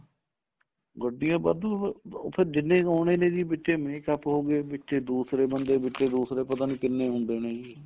ਗੱਡੀਆਂ ਵਾਧੂ ਉਹ ਫੇਰ ਜਿੰਨੇ ਕ ਆਉਣੇ ਨੇ ਜੀ ਵਿੱਚ ਏ makeup ਹੋ ਗਏ ਵਿੱਚ ਏ ਦੂਸਰੇ ਬੰਦੇ ਵਿੱਚ ਏ ਦੂਸਰੇ ਪਤਾ ਨੀਂ ਕਿੰਨੇ ਹੁੰਦੇ ਨੇ ਜੀ